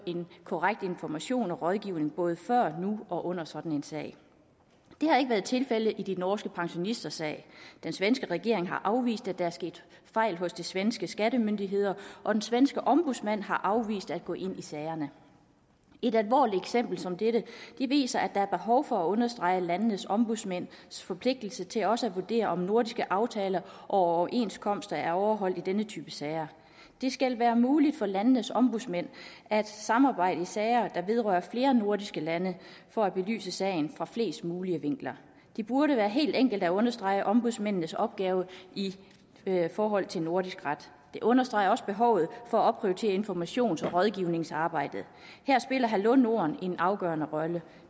korrekt information og rådgivning både før nu og under sådan en sag det har ikke været tilfældet i de norske pensionisters sag den svenske regering har afvist at der er sket fejl hos de svenske skattemyndigheder og den svenske ombudsmand har afvist at gå ind i sagerne et alvorligt eksempel som dette viser at der er behov for at understrege landenes ombudsmænds forpligtelse til også at vurdere om nordiske aftaler og overenskomster er overholdt i denne type sager det skal være muligt for landenes ombudsmænd at samarbejde i sager der vedrører flere nordiske lande for at belyse sagen fra flest mulige vinkler det burde være helt enkelt at understrege ombudsmændenes opgave i forhold til nordisk ret det understreger også behovet for at opprioritere informations og rådgivningsarbejdet her spiller hallo norden en afgørende rolle